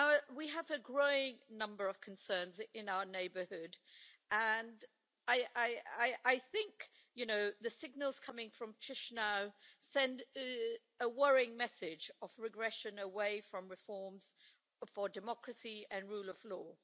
We have a growing number of concerns in our neighbourhood. I think the signals coming from Chișinău send a worrying message of regression away from reforms for democracy and the rule of law.